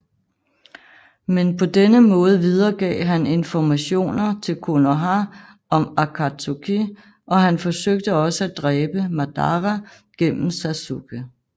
Men på denne måde videregav han informationer til Konoha om Akatsuki og han forsøgte også at dræbe Madara gennem Sasuke